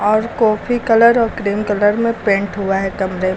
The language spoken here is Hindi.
और कॉफी कलर और क्रीम कलर में पेंट हुआ है कमरे --